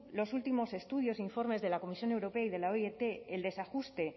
los últimos estudios e informes de la comisión europea y de la oit el desajuste